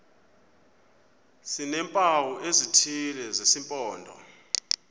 sineempawu ezithile zesimpondo